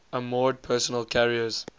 armored personnel carriers